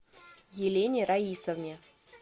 елене раисовне